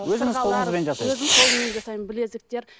өзіңіз қолыңызбен жасайсыз өзім қолыммен жасаймын білезіктер